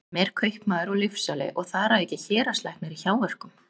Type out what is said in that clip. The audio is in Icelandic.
sem er kaupmaður og lyfsali og þar að auki héraðslæknir í hjáverkum?